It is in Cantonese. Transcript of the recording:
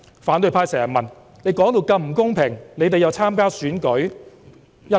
反對派經常問，我們說到如此不公平，為何又要參加選舉？